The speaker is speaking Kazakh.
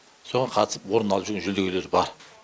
соған қатысып орын алып жүрген жүлдегерлер бар